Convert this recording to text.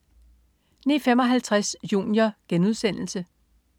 09.55 Junior*